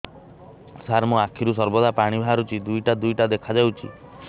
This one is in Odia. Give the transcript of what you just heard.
ସାର ମୋ ଆଖିରୁ ସର୍ବଦା ପାଣି ବାହାରୁଛି ଦୁଇଟା ଦୁଇଟା ଦେଖାଯାଉଛି